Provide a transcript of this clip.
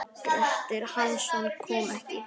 Grettir Hansson kom ekki.